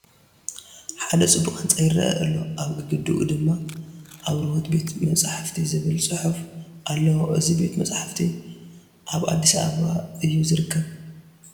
ሓደ ፅቡቕ ህንፃ ይርአ ኣሎ፡፡ ኣብ ግድግድኡ ድማ ኣብርሆት ቤተ መፃሕፍቲ ዝብል ፅሑፍ ኣለዎ፡፡ እዚ ቤተ መፃሕፍቲ ኣብ ኣዲስ ኣባባ እዩ ዝርከብ፡፡